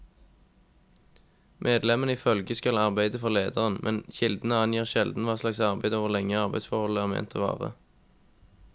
Medlemmene i følget skal arbeide for lederen, men kildene angir sjelden hva slags arbeid og hvor lenge arbeidsforholdet er ment å vare.